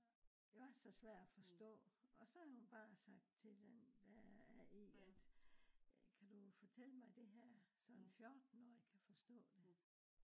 det var så svær at forstå. Også havde hun bare sagt til den der en at kan du fortælle mig det her så en 14-årig kan forstå det